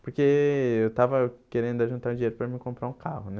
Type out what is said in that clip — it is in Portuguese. Porque eu estava querendo ajuntar um dinheiro para mim comprar um carro, né?